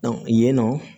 yen nɔ